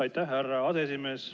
Aitäh, härra aseesimees!